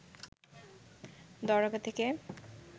দরগা থেকে